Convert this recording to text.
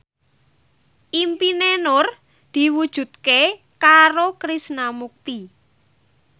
impine Nur diwujudke karo Krishna Mukti